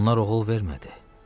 Onlar oğul vermədi.